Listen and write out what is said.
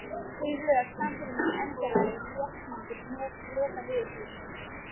Þau rök sannfærðu mig endanlega um réttmæti lokaniðurstöðu minnar.